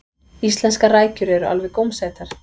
íslenskar rækjur eru alveg gómsætar